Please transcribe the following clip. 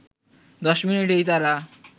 দশ মিনিটেই তারা